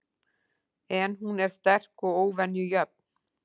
En hún er sterk og óvenju jöfn.